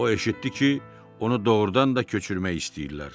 O eşitdi ki, onu doğurdan da köçürmək istəyirlər.